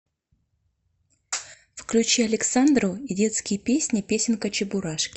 включи александру и детские песни песенка чебурашки